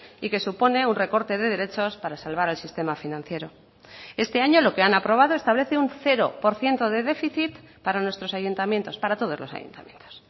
y que supone un recorte de derechos para salvar el sistema financiero este año lo que han aprobado establece un cero por ciento de déficit para nuestros ayuntamientos para todos los ayuntamientos